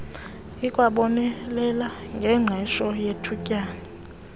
ikwabonelela ngengqesho yethutyana